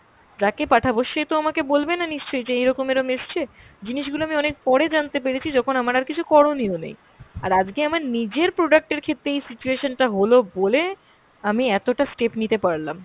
যাকে পাঠাবো সে তো আমাকে বলবে না নিশ্চয় যে এরকম এরম এসছে। জিনিস গুলো আমি অনেক পরে জানতে পেরেছি যখন আমার আর কিছু করনীয় নেই। আর আজকে আমার নিজের product এর ক্ষেত্রে এই situation টা হল বলে আমি এতটা step নিতে পারলাম।